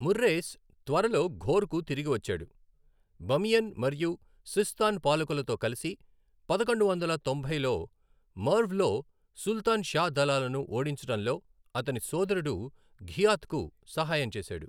మొర్రేస్ త్వరలో ఘోర్కు తిరిగి వచ్చాడు, బమియన్ మరియు సిస్తాన్ పాలకులతో కలిసి పదకొండు వందల తొంభైలో మెర్వ్లో సుల్తాన్ షా దళాలను ఓడించడంలో అతని సోదరుడు ఘియాత్కు సహాయం చేశాడు.